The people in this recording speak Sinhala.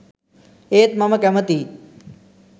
ඒත් මම කැමතියි